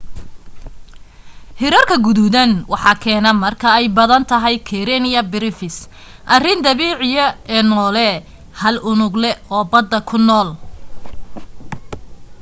hirarka gaduudan waxaa keena marka ay badan tahay karenia brevis arrin dabiiciya ee noole hal unugle oo badda ku nool